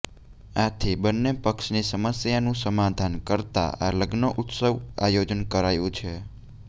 આથી બંને પક્ષની સમસ્યાનું સમાધાન કરતાં આ લગ્નોત્સવનું આયોજન કરાયું છે